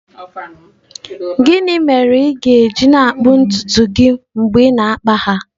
Gịnị mere ị ga-eji na-akpụ ntutu gị mgbe ị na-akpa ha?